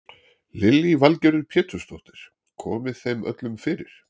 Lillý Valgerður Pétursdóttir: Komið þeim öllum fyrir?